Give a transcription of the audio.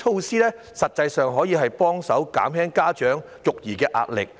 上述措施可減輕家長實際的育兒壓力。